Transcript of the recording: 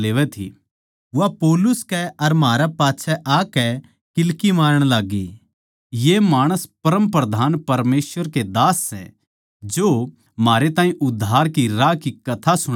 वा पौलुस कै अर म्हारै पाच्छै आकै नै किल्की मारण लाग्गी ये माणस परमप्रधान परमेसवर के दास सै जो म्हारै ताहीं उद्धार के राह की कथा सुणावै सै